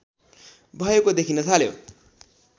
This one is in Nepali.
भएको देखिन थाल्यो